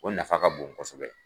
O nafa ka bon kosɛbɛ.